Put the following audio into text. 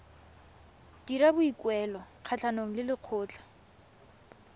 dira boikuelo kgatlhanong le lekgotlha